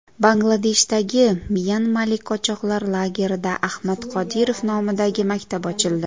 Bangladeshdagi myanmalik qochoqlar lagerida Ahmad Qodirov nomidagi maktab ochildi.